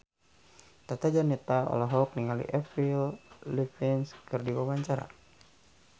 Tata Janeta olohok ningali Avril Lavigne keur diwawancara